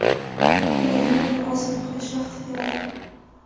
Ukrainani ozod qilish vaqti keldi.